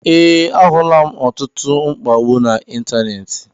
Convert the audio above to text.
Ee, ahulam ọtụtụ mkpagbu na ịntanetị